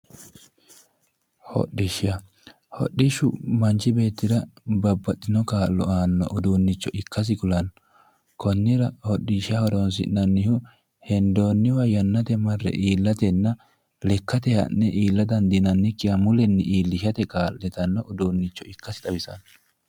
hodhishsha hodhishshu manchi beetira babbaxinno kaa'lo aanno uduunnicho ikkasi kulanno konnira hodhishsha horoonsi'nannihu hendoonniwa yannate marre iiillateetinna lekkatee ha'ne illinannikkiwa mulenni ha'ne iillate kaa'litanno uduunnicho ikkase xawisanno